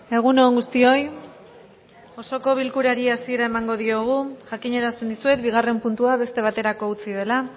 egun on guztioi osoko bilkurari hasiera emango diogu jakinarazten dizuet bigarren puntua beste baterako utzi dela